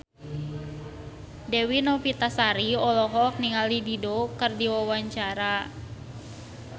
Dewi Novitasari olohok ningali Dido keur diwawancara